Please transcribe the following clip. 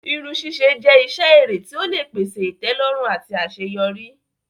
Irun sise jẹ́ iṣẹ́ èrè tí ó lè pèsè ìtẹ́lọ́rùn àti àṣeyọrí.